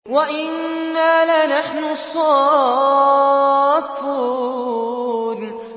وَإِنَّا لَنَحْنُ الصَّافُّونَ